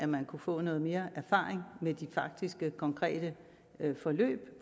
man kunne få noget mere erfaring med de faktiske konkrete forløb